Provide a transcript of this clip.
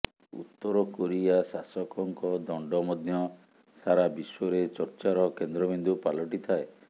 ଉତ୍ତରକୋରିଆ ଶାସକଙ୍କ ଦଣ୍ଡ ମଧ୍ୟ ସାରାବିଶ୍ୱରେ ଚର୍ଚ୍ଚାର କେନ୍ଦ୍ରବିନ୍ଦୁ ପାଲଟିଥାଏ